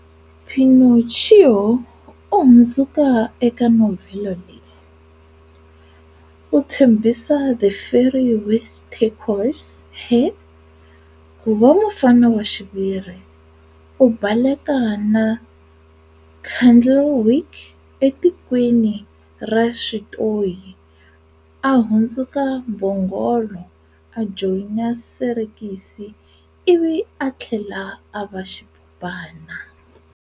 Pinocchio u hundzuka eka novhele leyi-u tshembisa The Fairy with Turquoise Hair ku va mufana wa xiviri, u baleka na Candlewick eTikweni ra Switoyi, a hundzuka mbhongolo, a joyina serekisi, ivi a tlhela a va xipopana.